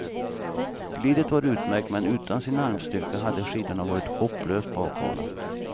Glidet var utmärkt, men utan sin armstyrka hade skidorna varit hopplöst bakhala.